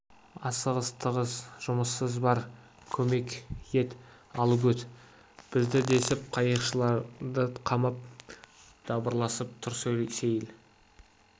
асығыс тығыз жұмысымыз бар көмек ет алып өт бізді десіп қайықшыларды қамап дабырласып тұр сейіл